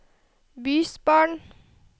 bysbarn